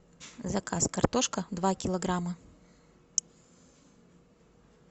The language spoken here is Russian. заказ картошка два килограмма